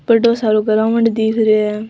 बड़ो सारो ग्राउंड दिख रियो है।